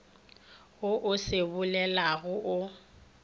wo o se bolelago o